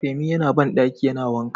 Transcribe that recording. Femi yana bandaki yana wanka.